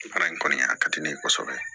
Baara in kɔni a ka di ne ye kosɛbɛ